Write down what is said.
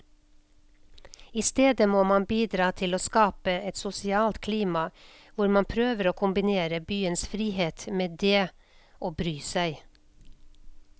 I stedet må man bidra til å skape et sosialt klima hvor man prøver å kombinere byens frihet med det å bry seg.